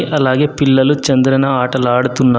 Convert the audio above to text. అలాగే పిల్లలు చంద్రన ఆటలు ఆడుతున్నారు.